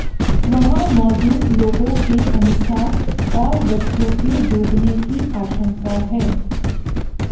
वहां मौजूद लोगों के अनुसार और बच्चों के डूबने की आशंका है